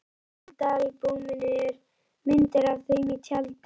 Í myndaalbúminu eru myndir af þeim í tjaldi.